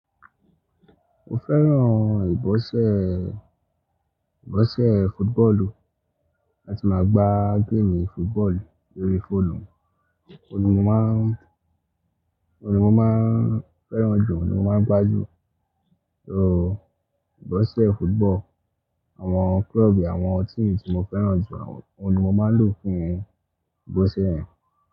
Mo fẹ́ràn ìgbọ̀nsẹ̀, ìgbọ̀nsẹ̀ footballu. Láti máa gba game footballu lórí fóònù, òun ni mo máa n, òun ni mo máa ń fẹ́ràn jù, òun ni mo máa ń gbá jù. So ìgbọ̀nsẹ̀ football, àwọn club, àwọn team tí mo fẹ́ràn jù, àwọn òun ni mo máa ń lò fún ìgbọ̀nsẹ̀ yẹn.